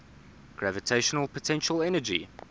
gravitational potential energy